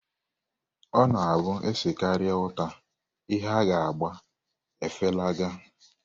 Ọ na-abụ e sekarịa útà, ihe a ga-agba efelaga.